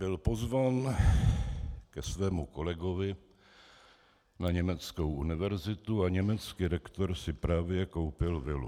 Byl pozván ke svému kolegovi na německou univerzitu a německý rektor si právě koupil vilu.